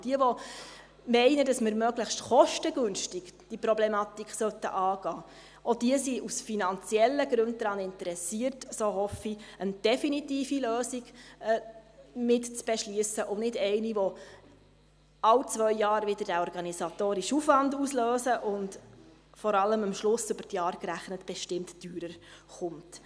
Denn die, welche meinen, dass wir diese Problematik möglichst kostengünstig angehen sollten, auch die sind aus finanziellen Gründen daran interessiert – das hoffe ich –, eine definitive Lösung mit zu beschliessen und nicht eine, die alle zwei Jahre wieder diesen organisatorischen Aufwand auslöst und, vor allem, am Ende, über die Jahre gerechnet, bestimmt teurer zu stehen kommt.